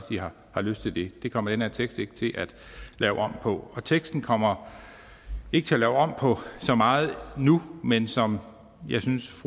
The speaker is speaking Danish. har lyst til det det kommer den her tekst ikke til at lave om på og teksten kommer ikke til at lave om på så meget nu men som jeg synes